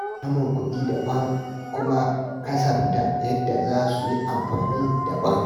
Samun kuɗi daban, kuma kasafta yadda za su yi amfani daban.